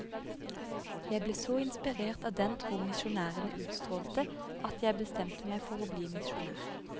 Jeg ble så inspirert av den tro misjonærene utstrålte at jeg bestemte meg for å bli misjonær.